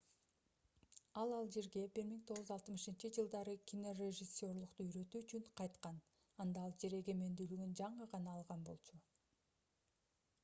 ал алжирге 1960-жылдары кинорежиссерлукту үйрөтүү үчүн кайткан анда алжир эгемендүүлүгүн жаңы гана алган болчу